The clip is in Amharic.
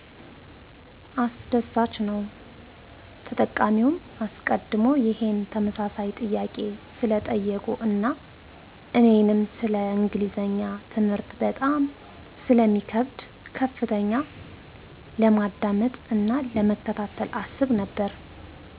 አስደሳችነዉ !ተጠቃሚዉ አሰቀድሞ ይሄን ተመሳሳይ ጥያቄ ስለጠየቁ አና እኔንም ሰለ እንግሊዝኛ ትምህርት በጣም ስለሚከብደ በከፍተኛ ለማዳመጥ አና ለመከታተል አስብ ነበረ።